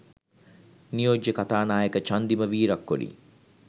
නියෝජ්‍ය කතානායක චන්දිම වීරක්කොඩි